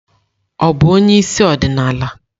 Ọ bụ onye isi ọdịnala?